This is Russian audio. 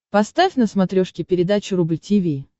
поставь на смотрешке передачу рубль ти ви